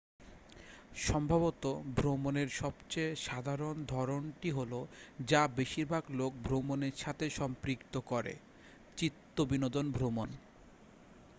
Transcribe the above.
সম্ভবত ভ্রমণের সবচেয়ে সাধারণ ধরণটি হলো যা বেশিরভাগ লোক ভ্রমণের সাথে সম্পৃক্ত করেঃ চিত্তবিনোদন ভ্রমণ